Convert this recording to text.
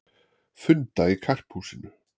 Funda í Karphúsinu